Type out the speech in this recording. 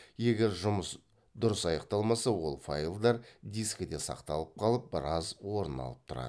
егер жұмыс дұрыс аяқталмаса ол файлдар дискіде сақталып қалып біраз орын алып тұрады